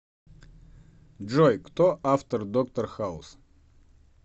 джой кто автор доктор хаус